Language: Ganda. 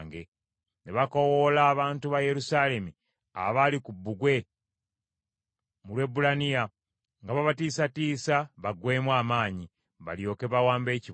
Ne bakoowoola abantu ba Yerusaalemi abaali ku bbugwe mu lw’Ebbulaniya, nga babatiisatiisa baggweemu amaanyi, balyoke bawambe ekibuga.